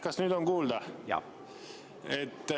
Kas nüüd on kuulda?